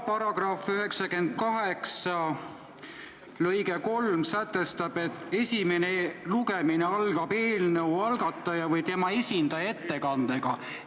Paragrahvi 98 lõige 3 sätestab, et esimene lugemine algab eelnõu algataja või tema esindaja ettekandega.